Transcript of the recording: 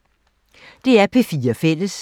DR P4 Fælles